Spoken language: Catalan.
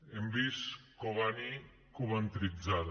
hem vist cobani coventritzada